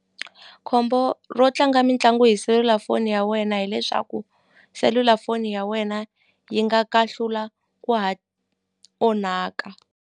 Khombo ro tlanga mitlangu hi selulafoni ya wena hileswaku selulafoni ya wena yi nga kahlula ku onhaka.